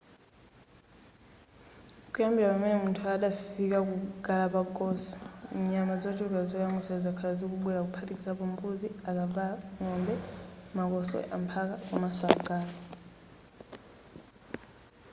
kuyambira pamene munthu adafika ku galapagos nyama zochuluka zoyamwisa zakhala zikubwera kuphatikizapo mbuzi akavalo ng'ombe makoswe amphaka komanso agalu